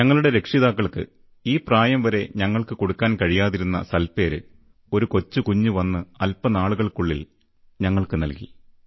ഞങ്ങളുടെ രക്ഷിതാക്കൾക്ക് ഈ പ്രായംവരെ ഞങ്ങൾക്കു കൊടുക്കാൻ കഴിയാതിരുന്ന സൽപ്പേര് ഒരു കൊച്ചുകുഞ്ഞ് വന്ന് അല്പനാളുകൾക്കുള്ളിൽ ഞങ്ങൾക്കു നൽകി